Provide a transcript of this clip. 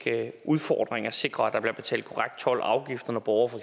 udfordring at sikre at der bliver betalt korrekt told og afgifter når borgere for